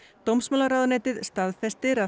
dómsmálaráðuneytið staðfestir að